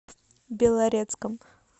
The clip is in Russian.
белорецком